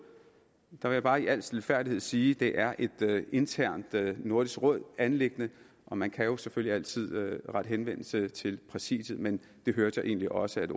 der vil jeg bare i al stilfærdighed sige at det er et internt nordisk råd anliggende og man kan jo selvfølgelig altid rette henvendelse til præsidiet men det hørte jeg egentlig også at